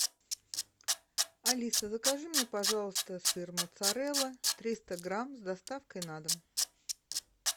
алиса закажи мне пожалуйста сыр моцарелла триста грамм с доставкой на дом